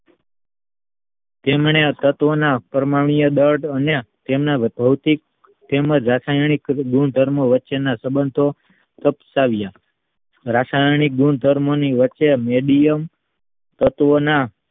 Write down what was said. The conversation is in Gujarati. તેમને તત્વના પરમાણ્વીય દળ અને તેમના ભૌતિક તેમજ રાસાયણિક ગુણધર્મો વચ્ચેના સબંધો ઉપસાવ્યા રાસાયણિક ગુણધર્મો ની વચ્ચે મેડીએ તત્વના